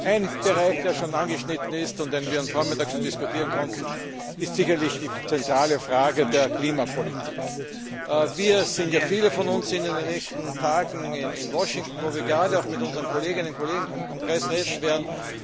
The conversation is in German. Ein Bereich, der schon angeschnitten wurde und den wir heute Vormittag schon diskutieren konnten, ist sicherlich die zentrale Frage der Klimapolitik. Viele von uns werden in den nächsten Tagen in Washington sein, wo wir mit unseren Kolleginnen und Kollegen vom Kongress reden werden.